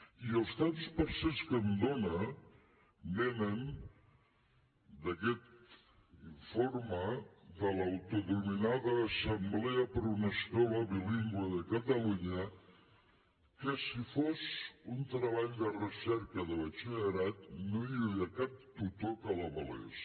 i els tants per cent que em donen venen d’aquest informe de l’autodenominada assemblea per una escola bilingüe de catalunya que si fos un treball de recerca de batxillerat no hi hauria cap tutor que l’avalés